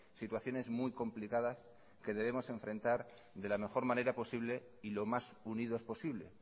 situaciones muy complicadas que debemos enfrentar de la mejor manera posible y lo más unidos posible